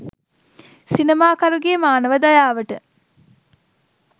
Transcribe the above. සිනමාකරුගේ මානව දයාවට